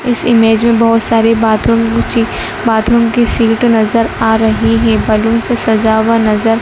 इस इमेज में बहोत सारी बाथरूम गूची बाथरूम की सीट नजर आ रही है बैलून से सजा हुआ नजर--